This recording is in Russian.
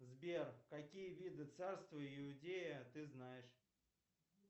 сбер какие виды царства иудея ты знаешь